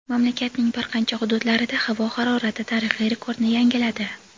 Mamlakatning bir qancha hududlarida havo harorati tarixiy rekordni yangiladi.